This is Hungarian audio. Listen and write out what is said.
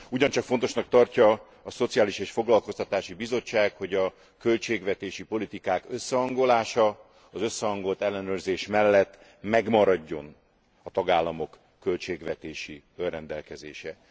Ugyancsak fontosnak tartja a Szociális és Foglalkoztatási Bizottság, hogy a költségvetési politikák összehangolása, az összehangolt ellenőrzés mellett megmaradjon a tagállamok költségvetési önrendelkezése.